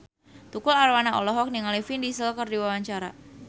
Tukul Arwana olohok ningali Vin Diesel keur diwawancara